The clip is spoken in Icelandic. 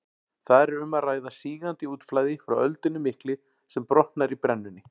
Þar er um að ræða sígandi útflæði frá öldunni miklu sem brotnar í brennunni.